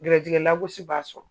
Gɛrɛsɛgɛ lagosi b'a sɔrɔ